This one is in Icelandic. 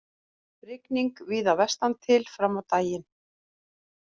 Rigning víða vestantil fram á daginn